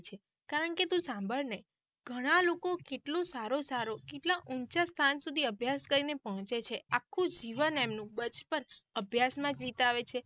કારણ કે તું સંભાળ ને ઘણા લોકો કેટલું સારું સારું કેટલા ઊંચા સ્થાન સુધી અભ્યાસ કરીને પહુચે છે આખું જીવન એમનું બચપન અભ્યાસ માં જ વિતાવે છે.